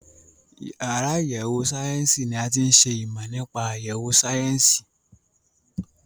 Àwọn àyẹ̀wò ìmọ̀ nípa ìmọ̀ nípa